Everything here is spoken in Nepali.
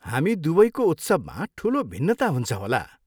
हामी दुवैको उत्सवमा ठुलो भिन्नता हुन्छ होला।